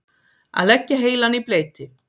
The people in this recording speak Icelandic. Að leggja heilann í bleyti